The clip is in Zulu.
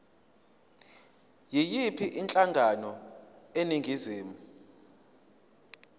yiyiphi inhlangano eningizimu